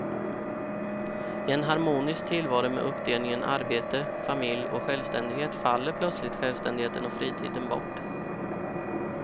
I en harmonisk tillvaro med uppdelningen arbete, familj och självständighet faller plötsligt självständigheten och fritiden bort.